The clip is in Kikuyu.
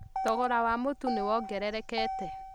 Thogora wa mũtũnĩ wongererekete